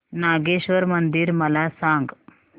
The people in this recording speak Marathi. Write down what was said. नागेश्वर मंदिर मला सांग